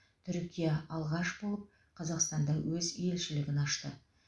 түркия алғаш болып қазақстанда өз елшілігін ашты